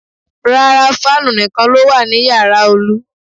Rárá, fáànù nìkan ló wà ní yàrá Olu